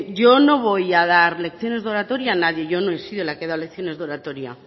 yo no voy a dar lecciones de oratoria a nadie yo no he sido la que ha dado lecciones de oratoria